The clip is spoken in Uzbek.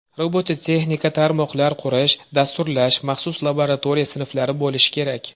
Robototexnika, tarmoqlar qurish, dasturlash, maxsus laboratoriya sinflari bo‘lishi kerak.